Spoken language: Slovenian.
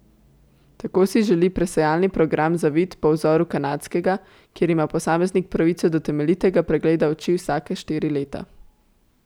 Tako si želi presejalni program za vid po vzoru kanadskega, kjer ima posameznik pravico do temeljitega pregleda oči vsake štiri leta.